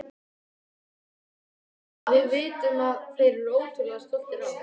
Við vitum að þeir eru ótrúlega stoltir af okkur.